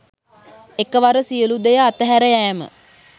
එකවර සියලු දෙය අතහැර යෑම